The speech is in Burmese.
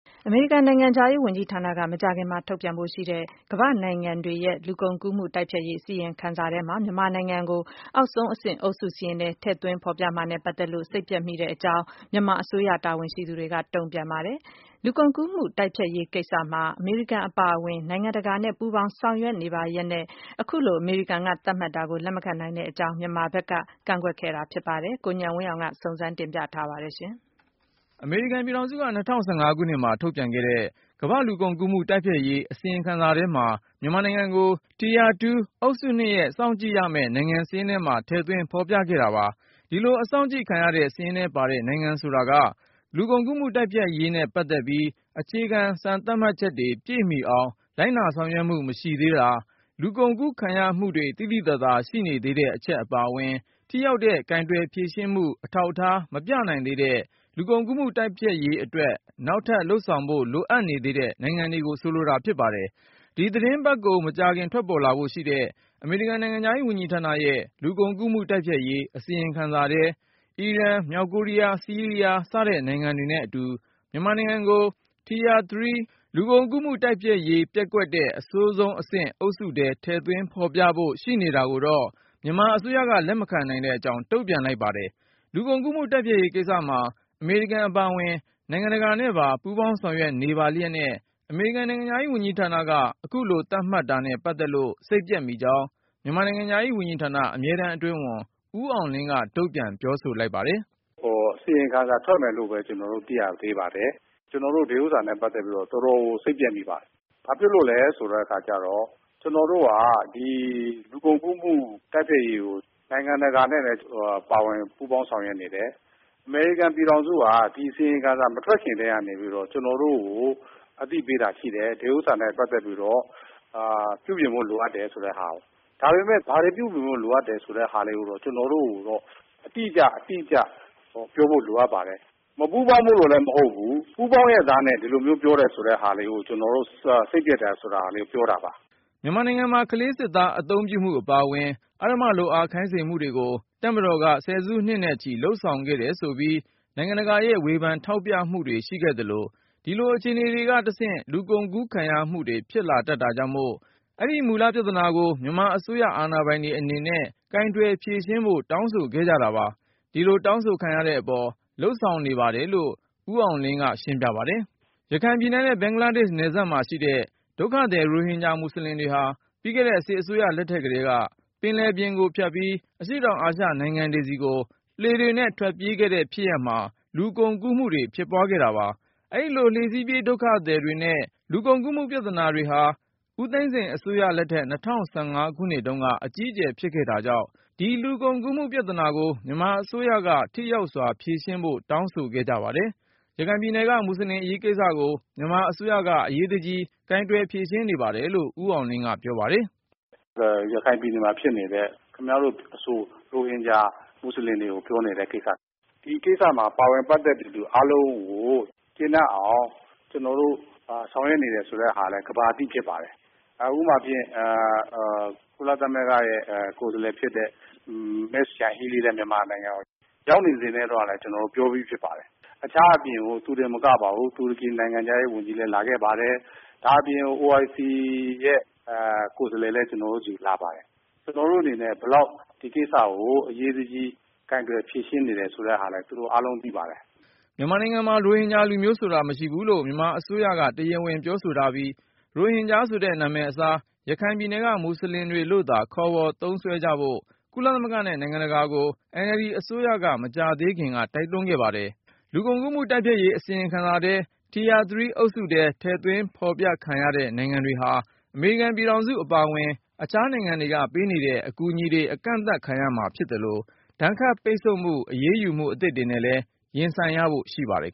အမေရိကန်နိုင်ငံခြားရေးဝန်ကြီးဌာနက မကြာခင်ထုတ်ပြန်ဖို့ရှိတဲ့ ကမ္ဘာ့နိုင်ငံတွေရဲ့လူကုန်ကူးမှုတိုက်ဖျက်ရေး အစီရင်ခံစာထဲမှာ မြန်မာနိုင်ငံ ကို အောက်ဆုံးအဆင့် အုပ်စုစာရင်းထဲထည့်သွင်းဖေါ်ပြ မှာနဲ့ ပတ်သက်လို့ စိတ်ပျက်မိကြောင်း မြန်မာအစိုးရတာဝန်ရှိသူတွေက တုန့်ပြန်လိုက် ပါတယ်။ လူကုန်ကူးမှုတိုက်ဖျက်ရေးကိစ္စမှာ အမေရိကန်အပါအဝင် နိုင်ငံတကာနဲ့ပါ ပူးပေါင်းဆောင်ရွက်နေပါလျှက်နဲ့ အခုလို အမေရိကန်က သတ်မှတ်တာကို လက်မခံနိုင်ကြောင်း မြန်မာနိုင်ငံက ပြောဆိုတာပါ။ ဒီအကြောင်း ကိုဉာဏ်ဝင်းအောင်က တင်ပြပါမယ်။ အမေရိကန်ပြည်ထောင်စုက ၂၀၁၅ ခုနှစ်မှာထုတ်ပြန်ခဲ့တဲ့ ကမ္ဘာ့လူကုန်ကူးမှုတိုက်ဖျက်ရေး အစီရင်ခံစာထဲမှာတော့ မြန်မာနိုင်ငံကို Tier 2 အုပ်စု(၂)ရဲ့ စောင့်ကြည့်ရမယ့် နိုင်ငံစာရင်းထဲမှာ ထည့်သွင်းဖေါ်ပြခဲ့တာပါ။ ဒီလို အစောင့်ကြည့်ခံရတဲ့ စာရင်းထဲပါတဲ့ နိုင်ငံတွေဆိုတာက လူကုန်ကူးမှုတိုက်ဖျက် ရေးနဲ့ပတ်သက်ပြီး အခြေခံ စံသတ်မှတ်ချက်တွေ ပြည့်မီအောင်လိုက်နာဆောင်ရွက်မှု မရှိသေးတာ၊ လူကုန်ကူးခံရ မှုတွေ သိသိသာသာရှိနေ သေးတဲ့အချက် အပါအဝင်၊ ထိရောက်တဲ့ကိုင်တွယ် ဖြေရှင်းမှု အထောက်အထားမပြနိုင်သေးပဲ လူကုန်ကူးမှုတိုက် ဖျက်ရေးအတွက် နောက်ထပ် လုပ်ဆောင်ဖို့ လိုအပ်နေသေးတဲ့ နိုင်ငံတွေကို ဆိုလိုတာဖြစ်ပါတယ်။ ဒီသီတင်းပတ်ကုန် မကြာခင် ထွက်ပေါ်လာဖို့ရှိတဲ့ အမေရိကန်နိုင်ငံခြားရေးဝန်ကြီးဌာနရဲ့ လူကုန်ကူးမှုတိုက်ဖျက်ရေး အစီရင်ခံစာထဲ အီရန် မြောက်ကိုရီးယား၊ ဆီးရီးယား စတဲ့နိုင်ငံတွေနဲ့အတူ မြန်မာနိုင်ငံကို Tier 3 လူကုန်ကူးမှုတိုက်ဖျက်ရေး ပျက်ကွက်တဲ့ အဆိုးဆုံးအဆင့် အုပ်စု ထဲ ထည့်သွင်းဖေါ်ပြဖို့ ရှိနေတာကိုတော့ မြန်မာအစိုးရက လက်မခံနိုင်တဲ့အကြောင်း တုန့်ပြန်လိုက်ပါတယ်။ လူကုန်ကူးမှုတိုက်ဖျက်ရေးကိစ္စမှာ အမေရိကန်အပါအဝင် နိုင်ငံတကာနဲ့ပါ ပူးပေါင်းဆောင်ရွက်နေပါလျှက်နဲ့ အမေရိကန်နိုင်ငံခြားရေးဝန်ကြီးဌာနက အခုလိုသတ်မှတ်တာနဲ့ ပတ်သက်လို့ စိတ်ပျက်မိကြောင်း မြန်မာနိုင်ငံခြားရေးဝန်ကြီးဌာန အမြဲတမ်း အတွင်းဝန် ဦးအောင်လင်းက တုန့်ပြန်ပြောဆိုလိုက်ပါတယ်။ “အစီရင်ခံစာထွက်မယ်လို့ပဲ ကျနော်တို့ သိရသေးပါတယ်။ ဒါပေမယ့် အခုသတင်းတွေထွက်ပေါ်တာကို အခြေခံမယ်ဆိုရင် ကျနော်တို့ ဒီဥစ္စာနဲ့ ပတ်သက်ပြီးတော့ တော်တော်ကို စိတ်ပျက်မိပါတယ်။ ဘာဖြစ်လို့လဲဆိုတော့ ကျနော်တို့က ဒီ လူကုန်ကူးမှုတိုက်ဖျက်ရေးကို နိုင်ငံတကာနဲ့လည်း ပူးပေါင်းဆောင်ရွက်နေတယ်။ အမေရိကန်ပြည်ထောင်စုဟာ အစီရင်ခံစာမထွက်ခင်ကတည်းကနေပြီးတော့ ကျနော်တို့ကိုအသိပေးတာရှိတယ်။ ဒီဥစ္စာနဲ့ ပတ်သက်ပြီးတော့ ပြုပြင်ဖို့လိုအပ်တယ်ဆိုတာကို။ ဒါပေမယ့် ဘာတွေ ပြုပြင်ဖို့လိုအပ်တယ်ဆိုတဲ့ဟာကို ကျနော်တို့ကို အတိအကျ ပြောဖို့လိုအပ်ပါတယ်။ မပူးပေါင်းလို့လည်းမဟုတ်ဘူး ပူးပေါင်းရဲ့သားနဲ့ ဒီလိုမျိုးပြောတယ်ဆိုတဲ့ဟာကို ကျနော်တို့ စိတ်ပျက်တယ်ဆိုတဲ့ဟာလေးကိုပြောတာပါ။” မြန်မာနိုင်ငံမှာ ကလေးစစ်သားအသုံးပြုမှု အပါအဝင် အဓမ္မလုပ်အားခိုင်းစေမှုတွေကို တပ်မတော်က ဆယ်စုနှစ်နဲ့ချီ လုပ်ဆောင်ခဲ့တယ်ဆိုပြီး နိုင်ငံတကာရဲ့ ဝေဖန်ထောက်ပြတာတွေ ရှိခဲ့သလို၊ ဒီလိုအခြေနေတွေကနေတဆင့် လူကုန်ကူးခံရမှုတွေဖြစ်လာ တတ်တာကြောင့်မို့ အဲဒီမူလ ပြဿနာကို မြန်မာအစိုးရအာဏာပိုင်တွေအနေနဲ့ ကိုင်တွယ်ဖြေရှင်းဖို့ တောင်းဆိုခဲ့ကြတာပါ။ ဒီလိုတောင်းဆိုခံရတဲ့အပေါ် လုပ်ဆောင်နေပါ တယ်လို့ ဦးအောင်လင်းက ရှင်းပြပါတယ်။ ရခိုင်ပြည်နယ်နဲ့ ဘင်္ဂလားဒေ့ရှ်နယ်စပ်မှာရှိတဲ့ ဒုက္ခသည်ရိုဟင်ဂျာမူဆလင်တွေဟာ ပြီးခဲ့တဲ့ စစ်အစိုးရလက်ထက်ကတည်းက ပင်လယ်ပြင်ကို ဖြတ်ပြီး အရှေ့တောင်အာရှနိုင်ငံတွေဆီကို လှေတွေနဲ့ထွက်ပြေးခဲ့တဲ့ဖြစ်ရပ်မှာ လူကုန်ကူးမှုတွေဖြစ်ပွားခဲ့တာပါ။ အဲဒီလို လှေစီးပြေးဒုက္ခသည် တွေနဲ့ လူကုန်ကူးမှုပြဿနာတွေဟာ ဦးသိန်းစိန်အစိုးရလက်ထက် ၂၀၁၅ခုနှစ်တုန်းက အကြီးအကျယ်ဖြစ်ခဲ့တာကြောင့် ဒီလူကုန်ကူးပြဿနာ ကို မြန်မာအစိုးရက ထိရောက်စွာဖြေရှင်းဖို့ တောင်းဆိုခဲ့ကြပါတယ်။ ရခိုင်ပြည်နယ်က မူဆလင်အရေးကိစ္စကို မြန်မာအစိုးရက အရေးတကြီး ကိုင်တွယ်ဖြေရှင်း နေပါတယ်လို့ ဦးအောင်လင်းက ပြောပါတယ်။ “ရခိုင်ပြည်နယ်မှာဖြစ်နေတဲ့ ခင်ဗျားတို့အဆို ရိုဟင်ဂျာ မူုဆလင်တွေကိုပြောနေ တဲ့ကိစ္စ ၊ ဒီကိစ္စမှာ ပါဝင်ပတ်သက်သူအားလုံးကို ကျေနပ်အောင် ကျနော်တို့ဆောင်ရွက်နေတယ်ဆိုတာလည်း ကမ္ဘာသိ ဖြစ်ပါတယ်။ ဥပမာဖြင့် ကုလသမဂ္ဂရဲ့ ကိုယ်စားလှယ်ဖြစ်တဲ့ Ms. Yanghee lee ရောက်နေစဉ်တုန်းကလည်း ကျနော်ပြောပြီးဖြစ်ပါတယ်။ ဒါ့အပြင် သူတင်မကပါဘူး တူရကီနိုင်ငံခြားရေးဝန်ကြီးလည်း လာခဲ့ပါတယ်။ ဒါအပြင် OIC ရဲ့ ကိုယ်စားလှယ်လည်း ကျနော်တို့စီလာပါတယ်။ ကျနော်တို့အနေနဲ့ ဘယ်လောက် ဒီကိစ္စကို အရေးတကြီး ကိုင်တွယ် ဖြေရှင်းနေတယ်ဆိုတာလည်း သူတို့အားလုံးသိပါတယ်။” မြန်မာနိုင်ငံမှာ ရိုဟင်ဂျာလူမျိုးဆိုတာမရှိဘူးလို့ မြန်မာအစိုးရက တရားဝင်ပြောဆိုထားပြီး၊ ရိုဟင်ဂျာဆိုတဲ့ နာမည်အစား ရခိုင်ပြည်နယ်က မူဆလင်တွေလို့သာ ခေါ်ဝေါ်သုံးစွဲကြဖို့ ကုလသမဂ္ဂနဲ့ နိုင်ငံတကာအသိုင်းအဝိုင်းကို NLD အစိုးရက မကြာသေးခင်က တိုက်တွန်းခဲ့ပါတယ်။ လူကုန်ကူးမှုတိုက်ဖျက်ရေး အစီရင်ခံစာထဲ Tier 3 အုပ်စုထဲ ထည့်သွင်းဖေါ်ပြခံရတဲ့ နိုင်ငံ တွေဟာ အမေရိကန်ပြည်ထောင်စုအပါအဝင် အခြားနိုင်ငံတွေကပေးနေတဲ့ အကူအညီတွေ အကန့်သတ်ခံရမှာဖြစ်သလို၊ ဒဏ်ခတ်ပိတ်ဆို့ အရေးယူမှု အသစ်တွေနဲ့လည်း ရင်ဆိုင်ရဖို့ ရှိပါတယ်